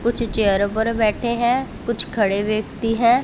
कुछ चेयरों पर बैठे हैं कुछ खड़े व्यक्ति है।